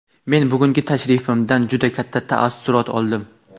Men bugungi tashrifimdan juda katta taassurot oldim.